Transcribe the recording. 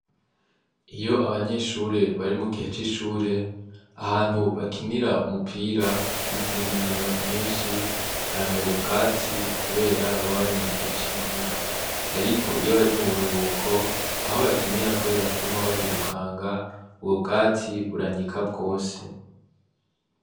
Iyo abanyeshure bari mu gihe c'ishure ahantu bakinira umupira n'izindi nkino nyinshi haramera ubwatsi, kubera babari mu gihe c'imvura, ariko iyo bari mu buruhuko aho bakinira, kubera kuguma bahirukanga ubwo bwatsi buranyika bwose.